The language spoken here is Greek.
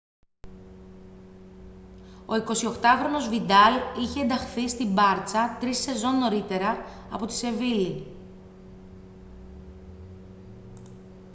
ο 28χρονος βιντάλ είχε ενταχθεί στη μπάρτσα τρεις σεζόν νωρίτερα από τη σεβίλλη